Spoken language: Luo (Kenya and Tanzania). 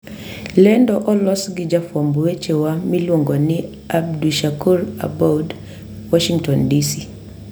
Lendo olos gi jafwamb weche wa miluongo ni Abdushakur Aboud, Washington, DC.